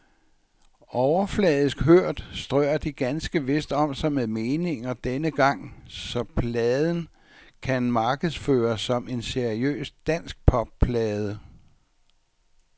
Overfladisk hørt strør de ganske vist om sig med meninger denne gang, så pladen kan markedsføres som en seriøs danskpopplade.